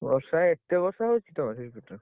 ବର୍ଷା ଏତେ ବର୍ଷା ହଉଛି ତମର ସେଇ ପଟରେ?